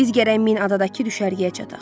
Biz gərək min adadakı düşərgəyə çataq.